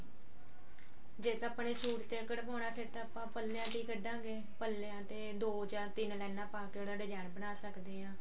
ਜੇ ਤਾਂ ਆਪਾਂ ਸੂਟ ਤੇ ਹੀ ਕਢਵਾਨਾ ਫੇਰ ਤਾਂ ਆਪਾਂ ਪੱਲਿਆਂ ਤੇ ਹੀ ਕਢਾ ਗੇ ਪੱਲਿਆਂ ਤੇ ਦੋ ਜਾਂ ਤਿੰਨ ਲੇਨਾਂ ਪਾ ਕੇ ਉਹਦਾ design ਬਣਾ ਸਕਦੇ ਆਂ